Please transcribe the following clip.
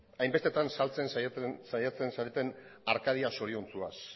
hainbestetan saltzen saiatzen zareten arkadia zoriontsuaz